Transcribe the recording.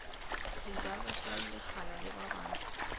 sejalo sa lekgala le babang